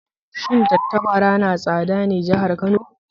Shin tattabara na tsada ne jihar Kano?